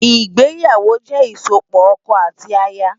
Igbéyáwó jè isópò òkò áti àyá